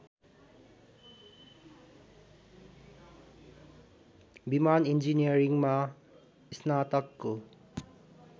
विमान इन्जिनियरिङमा स्नातकको